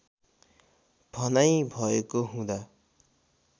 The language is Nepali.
भनाइ भएको हुँदा